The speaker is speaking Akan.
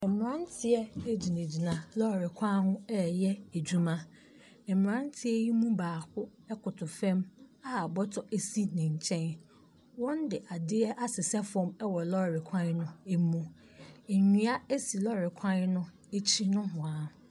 Mmranteɛ agyinagyina lɔre kwan ho ɛyɛ adwuma. Mmranteɛ yi mu baako ɛko to fam a bɔtɔ asi n'ɛnkyɛn. Wɔn di adeɛ ase sɛ fam wɔ lɔre kwan no amu. Nnua asi lɔre kwan no akyi nohwaa.